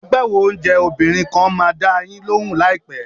Agbáwo oúnjẹ obìnrin kan máa dá a yín lóhùn láìpẹ́.